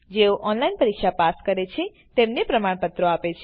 જેઓ ઓનલાઈન પરીક્ષા પાસ કરે છે તેઓને પ્રમાણપત્રો આપે છે